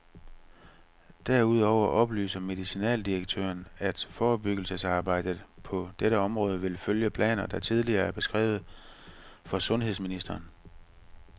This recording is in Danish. Derudover oplyser medicinaldirektøren, at forebyggelsesarbejdet på dette område vil følge planer, der tidligere er beskrevet for sundhedsministeren.